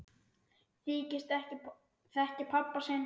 Þykist ekki þekkja pabba sinn!